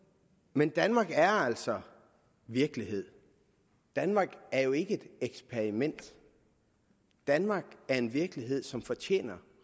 men danmark er altså virkelighed danmark er jo ikke et eksperiment danmark er en virkelighed som fortjener